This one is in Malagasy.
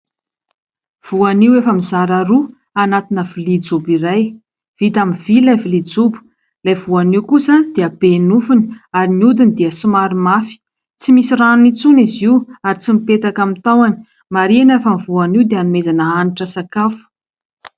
Voanio efa mizara roa anatina vilia jobo iray. Vita amin'ny vy ilay vilia jobo. Ilay voanio kosa dia be nofiny ary ny hodiny dia somary mafy, tsy misy ranony intsony izy io ary tsy mipetaka amin'ny tahony. Marihina fa ny voanio dia hanomezana hanitra sakafo.